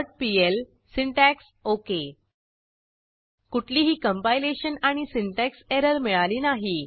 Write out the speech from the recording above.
conditionalblocksपीएल syntax okay कुठलीही compilation आणि syntax error मिळाली नाही